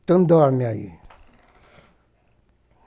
Então, dorme aí.